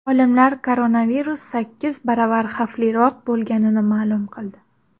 Olimlar koronavirus sakkiz baravar xavfliroq bo‘lganini ma’lum qildi.